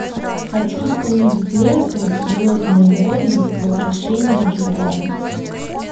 хочу увидеть ленту звездные войны возвращение джедая